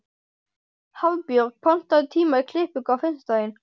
Hafbjörg, pantaðu tíma í klippingu á fimmtudaginn.